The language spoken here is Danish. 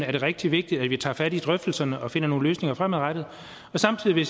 er det rigtig vigtigt at vi tager fat i drøftelserne og finder nogle løsninger fremadrettet samtidig vil